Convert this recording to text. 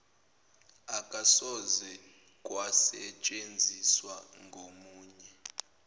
akusoze kwasetshenziswa ngomunye